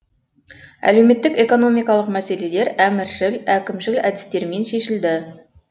әлеуметтік экономикалық мәселелер әміршіл әкімшіл әдістермен шешілді